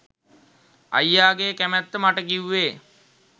අයියාගේ කැමැත්ත මට කිව්වේ